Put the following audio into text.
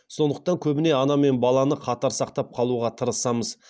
сондықтан көбіне ана мен баланы қатар сақтап қалуға тырысамыз